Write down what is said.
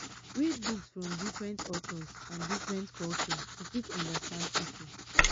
read books from different authors and different culture to fit understand pipo